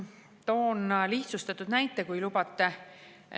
Toon lihtsustatud näite, kui lubate.